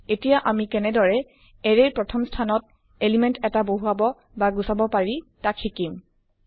এতিয়া আমি কেনেদৰে এৰে ৰ প্ৰথম স্থানত এলিমেন্ট এটা বহুৱাব বা গুচাব পাৰি তাক শিকিম